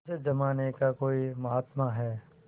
उस जमाने का कोई महात्मा है